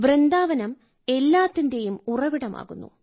വൃന്ദാവനം എല്ലാത്തിന്റെയും ഉറവിടമാകുന്നു